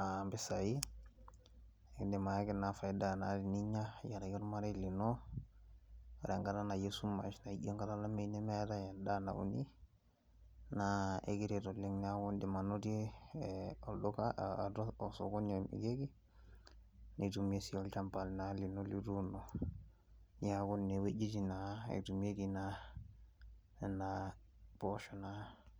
aa impisai, kidim ayaki naa faida teninya tenkaraki olmarei lino ore enkata esumash ashu enkata olameyu nemeatai endaa nauni, naa ekiret oleng' naa iindim anotie olduka, osokoni omirieki, nitumie naa sii olchamba lino lituuno. Neeku nena wojitin naa etumieki naa nena poosho naa.